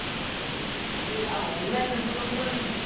ଆଉ ସୁନା ଭାଇ ଆଉ online ରେ ଭଲ mobile ମିଳୁଚି?